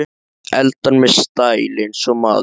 Eldar með stæl- eins og maður!